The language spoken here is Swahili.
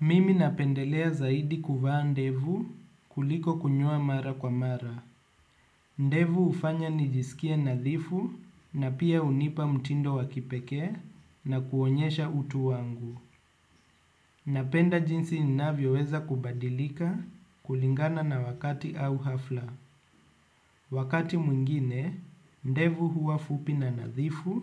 Mimi napendelea zaidi kuvaa ndevu kuliko kunyoa mara kwa mara. Ndevu hufanya nijisikie nadhifu na pia hunipa mtindo wa kipekee na kuonyesha utu wangu. Napenda jinsi ninavyo weza kubadilika kulingana na wakati au hafla. Wakati mwingine, ndevu huwa fupi na nadhifu,